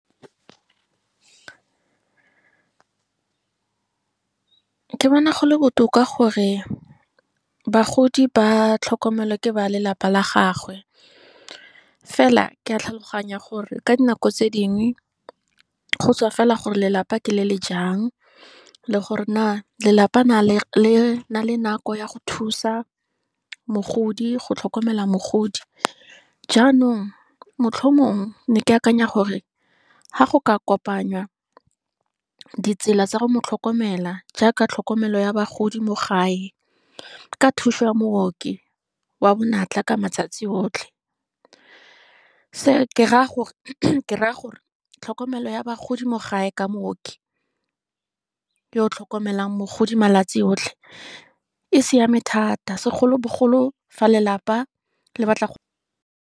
Ke bona gole botoka gore, bagodi ba tlhokomelwa ke ba lelapa la gagwe, fela ke a tlhaloganya gore ka dinako tse dingwe, go tswa fela gore lelapa ke le le jang, le gore na, lelapa na le nang le nako ya go thusa mogodi, go tlhokomela mogodi. Jaanong motlhomongwe, ne ke akanya gore, fa go ka kopangwa, ditsela tsa go motlhokomela. Jaaka tlhokomelo ya bagodi mo gae, ka thuso ya mooki, wa bonatla ka matsatsi otlhe, se ke raya gore tlhokomelo ya bagodi mo gae ka mooki, yo o tlhokomelang mogodi malatsi otlhe, e siame thata segolobogolo fa lelapa le batla go.